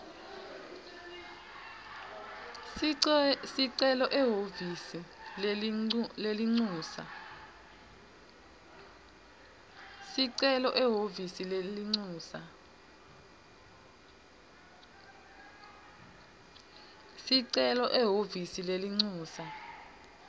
sicelo ehhovisi lelincusa